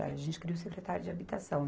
A gente queria o secretário de Habitação.